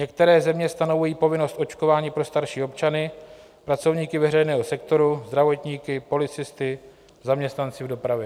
Některé země stanovují povinnost očkování pro starší občany, pracovníky veřejného sektoru, zdravotníky, policisty, zaměstnance v dopravě.